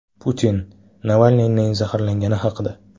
Putin Navalniyning zaharlangani haqida.